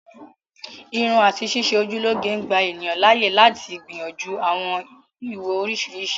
Irun àti ṣíṣe ojú lọ́ge ń gbà ènìyàn láàyè lati gbìyànjú àwọn ìwò oriṣiriṣi